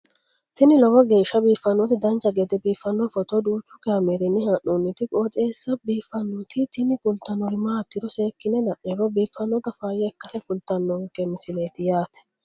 tini lowo geeshsha biiffannoti dancha gede biiffanno footo danchu kaameerinni haa'noonniti qooxeessa biiffannoti tini kultannori maatiro seekkine la'niro biiffannota faayya ikkase kultannoke misileeti yaate